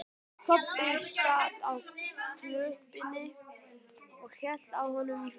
Kobbi sat á klöppinni og hélt á honum í fanginu.